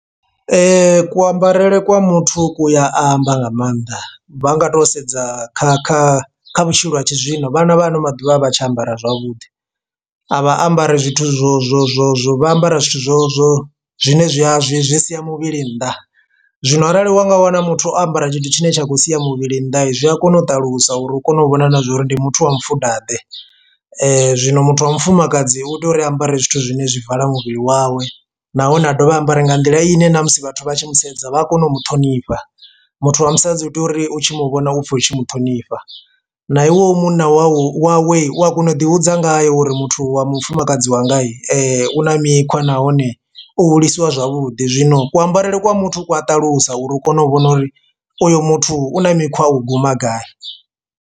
kuambarele kwa muthu ku ya amba nga maanḓa vha nga to sedza kha kha kha vhutshilo ha tshizwino vhana vha ano maḓuvha a vha tshi ambara zwavhuḓi, a vha ambari zwithu zwo zwo zwo zwo vha ambara zwithu zwo zwo zwine zwi a zwi zwi sia muvhili nnḓa zwino arali unga wana muthu o ambara tshithu tshine tsha khou sia muvhili nnḓa zwi a kona u ṱalusa uri u kone u vhona na zwa uri ndi muthu wa mufuda ḓe. Zwino muthu wa mufumakadzi u tea uri a ambare zwithu zwine zwi vala muvhili wawe nahone a dovha a ambare nga nḓila ine na musi vhathu vha tshi mu sedza vha a kone u muṱhonifha. Muthu wa musadzi u tea uri u tshi muvhona upfe utshi muṱhonifha na iwe u munna wawe wa kona u ḓi hudza ngaye uri muthu wa mufumakadzi wanga u na mikhwa nahone o hulisiwa zwavhuḓi zwino kuambarele kwa muthu ku a ṱalusa uri u kone u vhona uri uyu muthu u na mikhwa u guma gai.